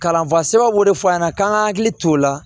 Kalanfa sɛbɛn b'o de fɔ an ɲɛna k'an ka hakili t'o la